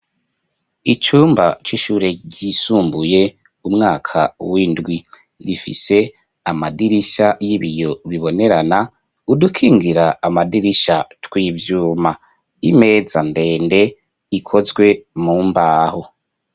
Icumba c'ishure risumbuye umwaka w'indwi rifise amadirisha y'ibiyo bibonerana udukingira amadirisha tw'ivyuma, imeza ndende ikozwe mu mbaho.